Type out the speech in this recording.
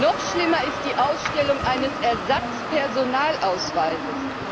Noch schlimmer ist die Ausstellung eines Ersatzpersonalausweises.